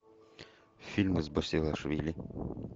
фильмы с басилашвили